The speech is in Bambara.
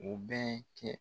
O bɛ cɛn